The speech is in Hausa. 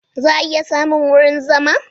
Za a iya samun wurin zama?